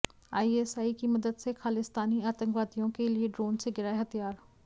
ISI की मदद से खालिस्तानी आतंकवादियों के लिए ड्रोन से गिराए हथियार